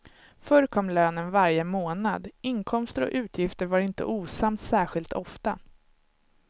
Förr kom lönen varje månad, inkomster och utgifter var inte osams särskilt ofta.